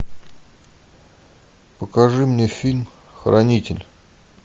покажи мне фильм хранитель